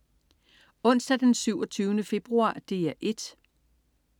Onsdag den 27. februar - DR 1: